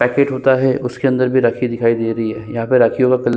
packet होता है उसके अन्दर भी राखी दिखाई दे रही है यहाँ पे राखियों का कल--